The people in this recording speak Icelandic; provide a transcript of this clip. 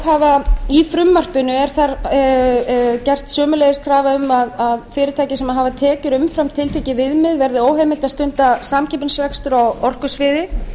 hafa í frumvarpinu er gerð sömuleiðis krafa um að fyrirtæki sem hafa tekjur umfram tiltekið viðmið verði óheimilt að stunda samkeppnisrekstur á orkusviði